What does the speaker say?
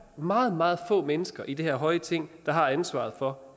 meget meget få mennesker i det her høje ting der har ansvaret for